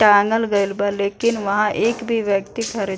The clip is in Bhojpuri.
टाँगल गइल बा लेकिन वहाँ एक भी व्यक्ति खड़े --